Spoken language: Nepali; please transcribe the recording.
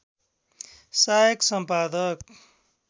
सायक सम्पादक